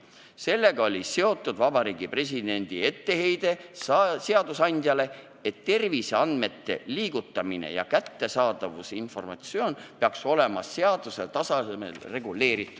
Sellega oli seotud Vabariigi Presidendi etteheide seadusandjale, et terviseandmete liigutamine ja kättesaadavus peaks olema seaduse tasandil reguleeritud.